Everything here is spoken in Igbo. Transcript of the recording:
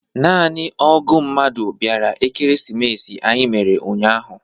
Naanị ógụ̀ mmadụ bịara Ekeresimesi anyị mere ụnyahụ.